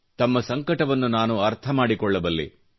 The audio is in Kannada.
ತಮ್ಮ ಸಂಕಟವನ್ನು ನಾನು ಅರ್ಥ ಮಾಡಿಕೊಳ್ಳಬಲ್ಲೆ